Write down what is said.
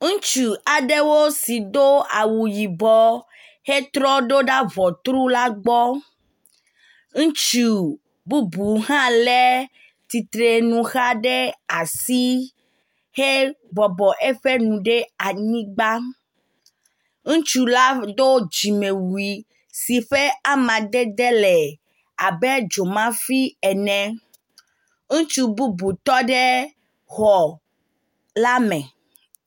Ŋutsu aɖewo si do awu yibɔ hetrɔ ɖoda ŋɔru la gbɔ. Ŋutsu bubu hã lé tsitrenu xa ɖe asi he bɔbɔ eƒe nu ɖe anyigba. Ŋutsu la do dzimewui si ƒe amadede le abe dzomafi ene. Ŋutsu bubu tɔ ɖe xɔ la me.